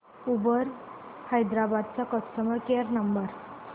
Uber Hyderabad चा customer care number